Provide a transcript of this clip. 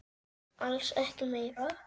Alls ekki meira.